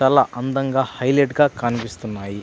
చాలా అందంగా హైలైట్ గ కనిపిస్తున్నాయి.